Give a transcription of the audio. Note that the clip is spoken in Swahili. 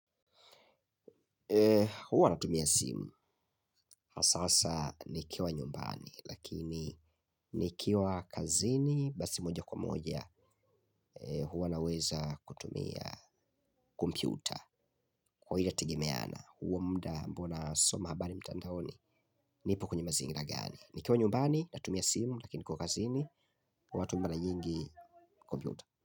Huwa natumia simu hasa hasa nikiwa nyumbani lakini nikiwa kazini basi moja kwa moja huwa naweza kutumia kompyuta, kwa hiyo inategemeana huo muda ambao nasoma habari mtandaoni nipo kwenye mazingira gani. Nikiwa nyumbani, natumia simu lakini nikiwa kazini huwa natumia mara nyingi kompyuta.